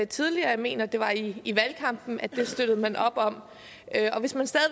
tidligere jeg mener det var i valgkampen at det støttede man op om hvis man stadig